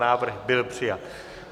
Návrh byl přijat.